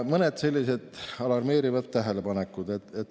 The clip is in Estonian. Mõned alarmeerivad tähelepanekud.